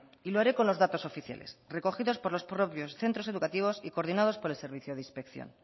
y lo haré con los datos oficiales recogidos por los propios centros educativos y coordinados por el servicio de inspección